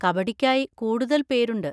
കബഡിക്കായി കൂടുതൽ പേരുണ്ട്.